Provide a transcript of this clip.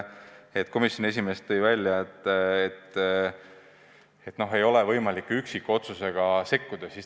Komisjoni esimees märkis, et ei ole võimalik üksikotsuse tegemisega sekkuda.